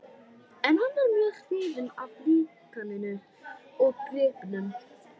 En hann var mjög hrifinn af líkaninu og gripnum.